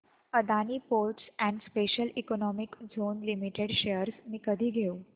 Adani ports and special economic zone limited shares मी कधी घेऊ